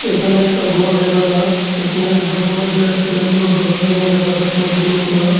এখানে একটা ঘর দেখা যার এইখানে ঘরের মইধ্যে অনেকগুলো দরজা-জানলা দেখা যায় সবগুলো খোলা।